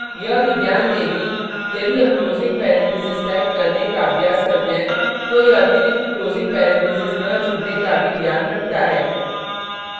यह भी ध्यान दें कि यदि हम closing parenthesis type करने का अभ्यास करते हैं तो यह अतिरिक्त closing parenthesis न जुड़ने का भी ध्यान रखता है